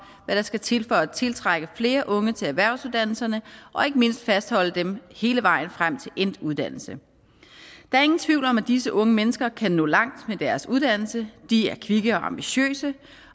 hvad der skal til for at tiltrække flere unge til erhvervsuddannelserne og ikke mindst fastholde dem hele vejen frem til endt uddannelse der er ingen tvivl om at disse unge mennesker kan nå langt med deres uddannelse de er kvikke og ambitiøse